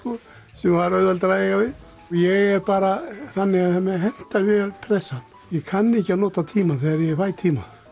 sem var auðveldara að eiga við og ég er bara þannig að mér hentar vel pressa ég kann ekki að nota tíma þegar ég fæ tíma